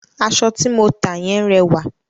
Aṣọ ti mo ta yẹn rẹwà.